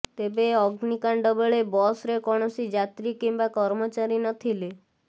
ତେବେ ଅଗ୍ନିକାଣ୍ଡ ବେଳେ ବସ୍ରେ କୌଣସି ଯାତ୍ରୀ କିମ୍ବା କର୍ମଚାରୀ ନଥିଲେ